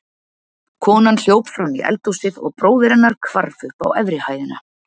Konan hljóp fram í eldhúsið og bróðir hennar hvarf upp efri hæðina.